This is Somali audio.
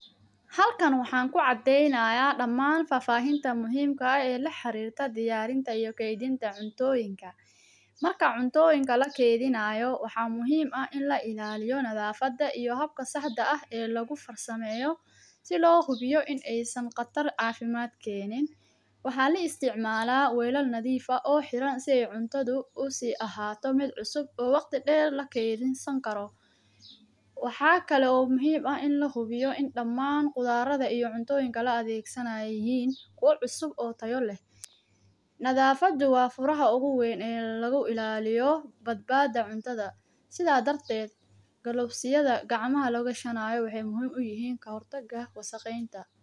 Halkan waxan kucadeynaya damaan fafahinta muhimka ee laxarirta diyarintaa iyo keydinta cuntoyinka. Marka cuntoyinka lakeydinayo waxa muhim ah in lailaliyo nadhafada iyo habka saxda ee lagufarsameyo si lohubiyo in aysan Qatar caafimaad keenin, waxa laisticmala welal nadhiif oo heran si ay cuntadha usii ahaato mid cusub oo waqti deer lakeydisan karo. Waxa kale oo muhim ah in lahubiyo in damaan qudharadha iyo cuntoyinka la adeegsanaya inay yihin kuwa cusub oo tayo leh. Nadhafada wa furaha ugu weyn oo laguilaliyo badbada cuntadha sidha darted galofsiyadha gacmaha lagashinayo waxay muhim uyihin kahortaga wasaqeynta.